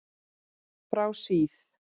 Frá síð